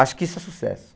Acho que isso é sucesso.